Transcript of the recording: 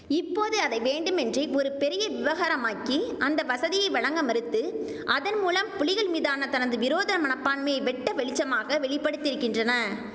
இப்போதே அதை வேண்டுமென்றே ஒரு பெரிய விவகாரமாக்கி அந்த வசதியை வழங்க மறுத்து அதன் மூலம் புலிகள் மீதான தனது விரோத மனப்பான்மையை வெட்ட வெளிச்சமாக வெளிப்படுத்தியிருக்கின்றன